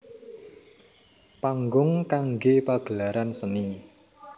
Panggung kanggé pagelaran seni